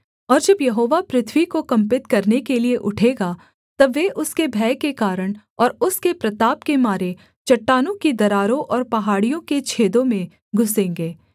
और जब यहोवा पृथ्वी को कम्पित करने के लिये उठेगा तब वे उसके भय के कारण और उसके प्रताप के मारे चट्टानों की दरारों और पहाड़ियों के छेदों में घुसेंगे